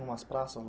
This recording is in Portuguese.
umas praças?